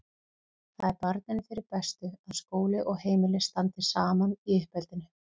Það er barninu fyrir bestu að skóli og heimili standi saman í uppeldinu.